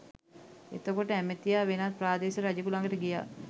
එතකොට ඇමතියා වෙනත් ප්‍රාදේශීය රජෙකු ළඟට ගියා